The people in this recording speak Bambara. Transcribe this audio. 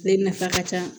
Ne nafa ka ca